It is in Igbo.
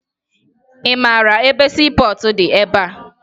Ị mara ebe siipọọtụ dị ebea?